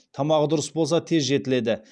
тамағы дұрыс болса тез жетіледі